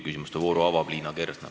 Küsimuste vooru avab Liina Kersna.